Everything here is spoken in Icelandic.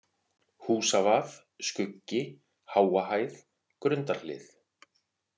Húsavað, Skuggi, Háahæð, Grundarhlið